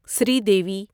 Sridevi